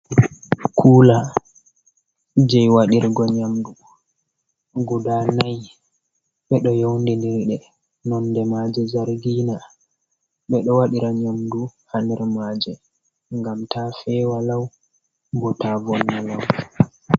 Kula je waɗirgo nyamdu guda nai ɓeɗo yaundindiri nonde maje zargina. Ɓedo waɗira nyamdu ha der maje ngam ta fewa lau, bo ta vonne lau bo.